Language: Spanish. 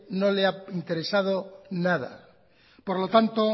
no le ha interesado nada por lo tanto